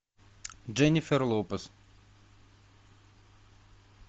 дженнифер лопес